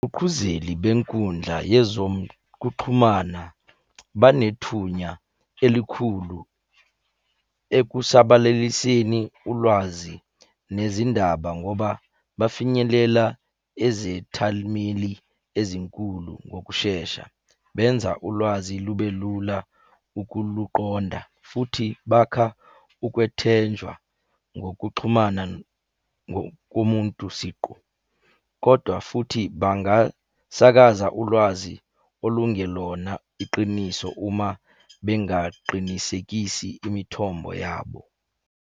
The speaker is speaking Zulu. Qhuqhuzeli benkundla yezokuxhumana banethunya elikhulu ekusabalaliseni ulwazi nezindaba ngoba bafinyelela ezethalimeli ezinkulu ngokushesha. Benza ulwazi lube lula ukuluqonda, futhi bakha ukwethenjwa ngokuxhumana ngokomuntu siqu, kodwa futhi bangasakaza ulwazi olungelona iqiniso uma bengaqinisekisi imithombo yabo.